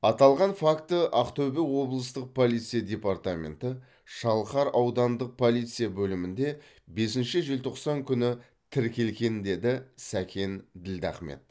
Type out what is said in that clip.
аталған факті ақтөбе облыстық полиция департаменті шалқар аудандық полиция бөлімінде бесінші желтоқсан күні тіркелген деді сәкен ділдахмет